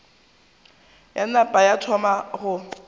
ya napa ya thoma go